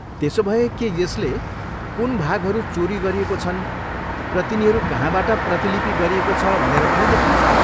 त्यसोभए के यसले कुन भागहरू चोरी गरिएको छन् र तिनीहरू कहाँबाट प्रतिलिपि गरिएको छ भनेर पनि देखाउँछ?